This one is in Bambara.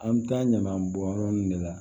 An bɛ taa ɲaman bɔn yɔrɔ nin de la